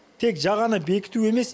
тек жағаны бекіту емес